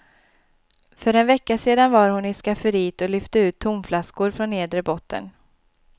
För en vecka sedan var hon i skafferiet och lyfte ut tomflaskor från nedre botten.